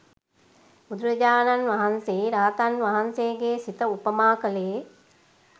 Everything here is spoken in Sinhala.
බුදුරජාණන් වහන්සේ රහතන් වහන්සේගේ සිත උපමා කළේ